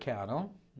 Cannon.